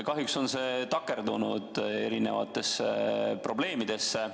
Kahjuks on see takerdunud erinevatesse probleemidesse.